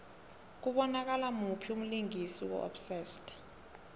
kubonakala muphi umlingisi ku obsessed